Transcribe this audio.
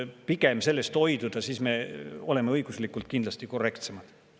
Pigem sellest hoiduda, siis me oleme õiguslikult kindlasti korrektsemad.